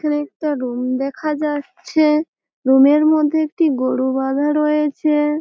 এখানে একটা রুম দেখা যাচ্ছে। রুমের মধ্যে একটি গোরু বাধা রয়েছে।